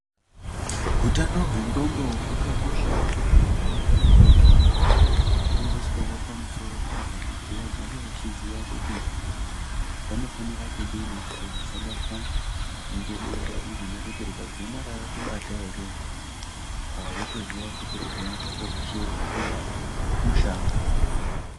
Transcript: Hutano hwendxondo hwakakoshawo kuti vantu vagare vachifundiswawo pamusoro pahwo kuti vagare vachiziya kuti vanofanira kudini kuti vasabatwa ngedenda iri nekuti rikadzimara rakubata ere, wotoziya kuti upenyu hwako hweshe hwatova mushango.